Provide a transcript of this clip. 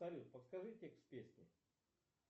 салют подскажи текст песни